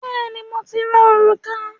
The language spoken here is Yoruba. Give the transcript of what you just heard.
Bẹ́ẹ̀ni, mo ti ra òrùka